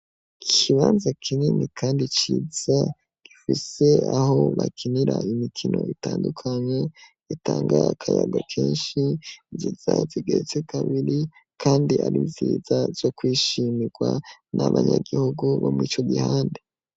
Ikibanza kinini kandi ciza gifise aho bakinira imikino ,itandukanye gitanga akayaga kenshi zija kandi ari nziza zo kwishimirwa n'abanyagihugu bo mu ico gihande.